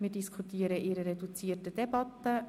Wir diskutieren in reduzierter Debatte.